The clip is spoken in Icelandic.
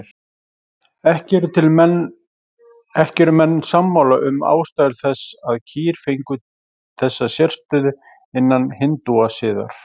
Ekki eru menn sammála um ástæður þess að kýr fengu þessa sérstöðu innan hindúasiðar.